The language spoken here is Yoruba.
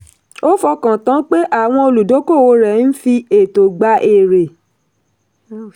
ó fọkàn tán pé àwọn olùdókòwò rẹ̀ ń fi ẹ̀tọ́ gbà èrè.